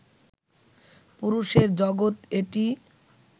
পুরুষের জগত এটি